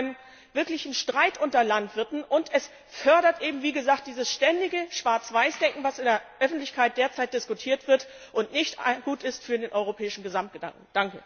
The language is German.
Es führt zu einem wirklichen Streit unter den Landwirten und es fördert eben dieses ständige Schwarz Weiß Denken, was in der Öffentlichkeit derzeit diskutiert wird und nicht gut ist für den europäischen Gesamtgedanken.